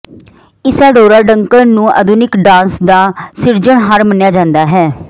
Isadora Duncan ਨੂੰ ਆਧੁਨਿਕ dance ਦਾ ਸਿਰਜਣਹਾਰ ਮੰਨਿਆ ਜਾਂਦਾ ਹੈ